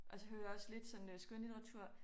Og så hører jeg også sådan lidt øh skønlitteratur